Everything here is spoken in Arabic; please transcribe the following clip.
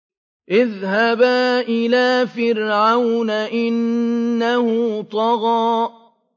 اذْهَبَا إِلَىٰ فِرْعَوْنَ إِنَّهُ طَغَىٰ